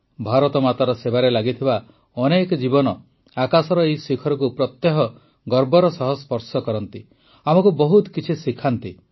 ଭାରତମାତାର ସେବାରେ ଲାଗିଥିବା ଅନେକ ଜୀବନ ଆକାଶର ଏହି ଶିଖରକୁ ପ୍ରତ୍ୟହ ଗର୍ବର ସହ ସ୍ପର୍ଶ କରନ୍ତି ଆମକୁ ବହୁତ କିଛି ଶିଖାନ୍ତି